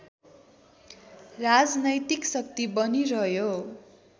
राजनैतिक शक्ति बनिरह्यो